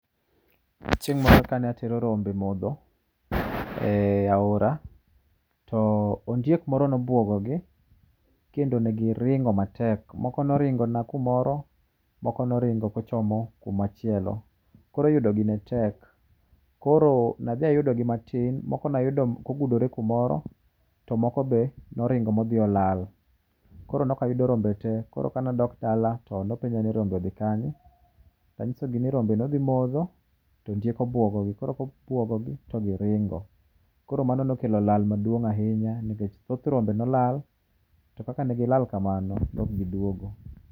Chieng' moro kane atero rombe modho e aora, to ondiek moro no bwogo gi, kendo ne giringo matek. Moko noringona kumoro, moko noringo kochomo kumachielo. Koro yudogi ne tek. Koro ne adhi ayudogi matin. Moko nayudo kogudore kamoro, to moko be ne oringo ma odhi olal. Koro nokayudo rombe te. Koro kaneadok dala to nopenja ni rombe odhi kanye? To anyisogi ni rombe nodhi modho to ondiek obwogogi. Koro kobwogogi to giringo, koro mano nokelo lal maduong' ahinya. Nikech thoth rombe nolal, to kaka ne gilal kamano nokgidugo.